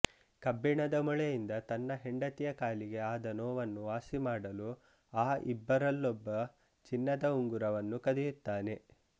ಕಬ್ಬಿಣದ ಮೊಳೆಯಿಂದ ತನ್ನ ಹೆಂಡತಿಯ ಕಾಲಿಗೆ ಆದ ನೋವನ್ನು ವಾಸಿಮಾಡಲು ಆ ಇಬ್ಬರಲ್ಲೊಬ್ಬ ಚಿನ್ನದ ಉಂಗುರವನ್ನು ಕದಿಯುತ್ತಾನೆ